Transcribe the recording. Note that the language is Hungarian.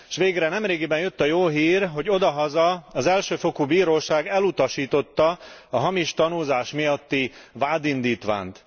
S végre nemrégiben jött a jó hír, hogy odahaza az elsőfokú bíróság elutasította a hamis tanúzás miatti vádindítványt.